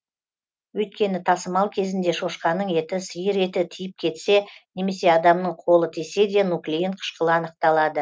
өйткені тасымал кезінде шошқаның еті сиыр еті тиіп кетсе немесе адамның қолы тисе де нуклеин қышқылы анықталады